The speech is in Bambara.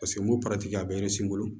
Paseke n ko a bɛ n bolo